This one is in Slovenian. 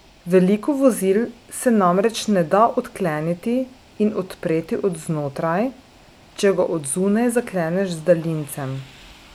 Veliko vozil se namreč ne da odkleniti in odpreti od znotraj, če ga od zunaj zakleneš z daljincem.